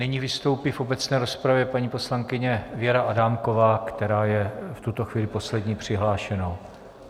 Nyní vystoupí v obecné rozpravě paní poslankyně Věra Adámková, která je v tuto chvíli poslední přihlášenou.